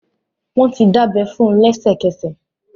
Wọ́n ti dábẹ́ fún lẹ́sẹ̀kẹsẹ̀